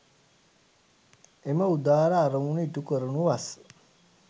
එම උදාර අරමුණු ඉටු කරනු වස්